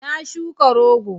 Na shuka rogo